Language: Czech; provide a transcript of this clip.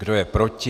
Kdo je proti?